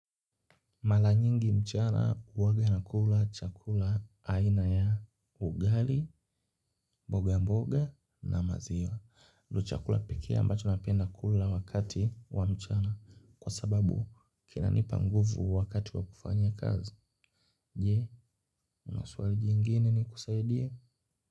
Mala nyingi mchana uwaga nakula chakula aina ya ugali, mboga mboga na maziwa chakula peke ambacho napenda kula wakati wamuchana kwa sababu kina nipa nguvu wakati wa kufanya kazi. Je, una suali jingine ni kusaidie.